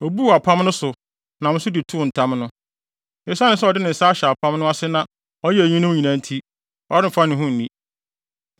Obuu apam no so, nam so de too ntam no. Esiane sɛ ɔde ne nsa ahyɛ apam no ase na ɔyɛɛ eyinom nyinaa nti, ɔremfa ne ho nni.